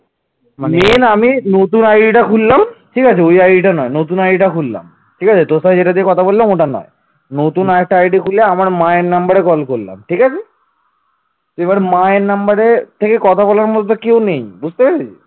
এবার মায়ের number থেকে কথা বলার মতন তো কেউ নেই বুঝতে পেরেছিস